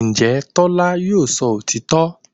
Ǹjẹ́ Tọ́lá yóò sọ òtítọ́